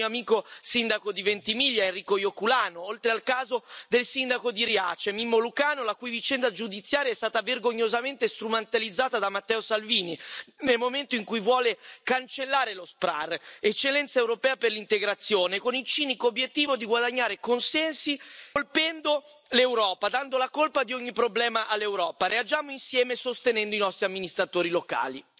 Penso al mio amico sindaco di Ventimiglia Enrico Ioculano, oltre al caso del sindaco di Riace, Mimmo Lucano, la cui vicenda giudiziaria è stata vergognosamente strumentalizzata da Matteo Salvini, nel momento in cui vuole cancellare lo SPRAR, eccellenza europea per l'integrazione, con il cinico obiettivo di guadagnare consensi colpendo l'Europa, dando la colpa di ogni problema all'Europa. Reagiamo insieme sostenendo i nostri amministratori locali.